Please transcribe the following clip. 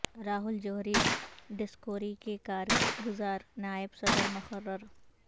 Rahul Johri Discovery کے کار گزار نائب صدر مقرر